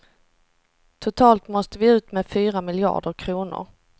Totalt måste vi ut med fyra miljarder kronor.